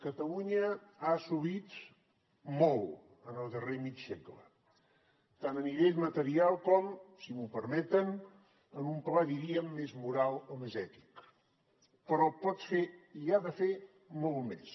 catalunya ha assumit molt en el darrer mig segle tant a nivell material com si m’ho permeten en un pla en diríem més moral o més ètic però pot fer i ha de fer molt més